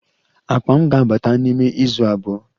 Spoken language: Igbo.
Akpa m ga-abata n'ime izu abụọ